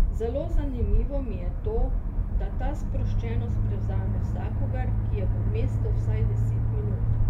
Zelo zanimivo mi je to, da ta sproščenost prevzame vsakogar, ki je v mestu vsaj deset minut.